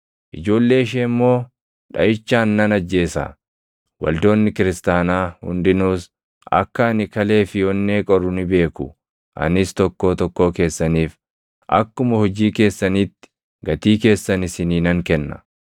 Ijoollee ishee immoo dhaʼichaan nan ajjeesa. Waldoonni kiristaanaa hundinuus akka ani kalee fi onnee qoru ni beeku; anis tokkoo tokkoo keessaniif akkuma hojii keessaniitti gatii keessan isinii nan kenna.